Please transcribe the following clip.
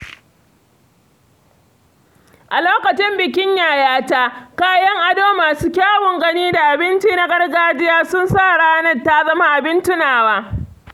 A lokacin bikin yayata, kayan ado masu kyawun gani da abinci na gargajiya sun sa ranar ta zama abin tunawa.